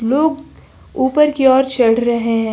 लोग ऊपर की ओर चढ़ रहे हैं।